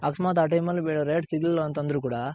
ಅಕಸ್ಮಾತ್ ಆ time ಅಲ್ rate ಸಿಗಲಿಲ್ ಅಂದ್ರು ಕೂಡ.